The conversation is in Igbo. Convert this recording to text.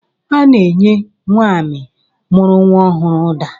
Ana-enye nwaanyị mụrụ nwa ọhụrụ ụda